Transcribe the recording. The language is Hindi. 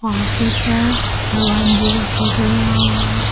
ऑफिस है भगवान जी का फोटो लगा हुआ है।